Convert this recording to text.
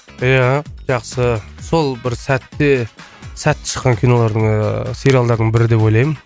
иә жақсы сол бір сәтте сәтті шыққан кинолардың ыыы сериалдардың бірі деп ойлаймын